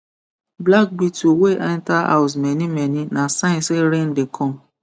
black beetle wey enter house manymany na sign say rain dey come